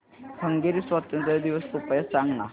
Hungary स्वातंत्र्य दिवस कृपया सांग ना